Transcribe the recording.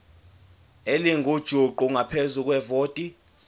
elingujuqu ngaphezu kwevoti